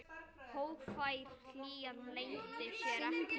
Hógvær hlýjan leyndi sér ekki.